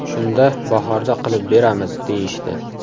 Shunda bahorda qilib beramiz, deyishdi.